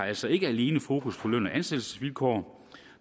altså ikke alene fokus på løn og ansættelsesvilkår